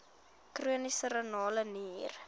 chroniese renale nier